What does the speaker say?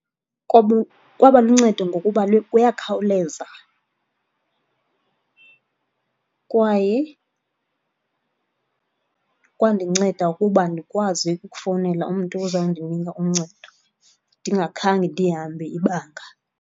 kwaba luncedo ngokuba kuyakhawuleza kwaye kwandinceda ukuba ndikwazi ukufowunela umntu ozawundinika uncedo ndingakhange ndihambe ibanga.